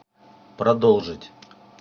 продолжить